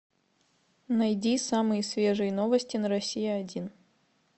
найди самые свежие новости на россия один